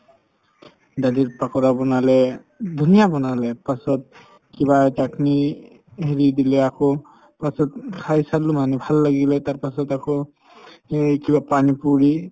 দালিৰ পাকৰা বনালে ধুনীয়া বনালে পাছত কিবা chutney হেৰি দিলে আকৌ পাছত খাই চালো মানে ভাল লাগিলে তাৰপাছত আকৌ এই কিবা পানি পুৰি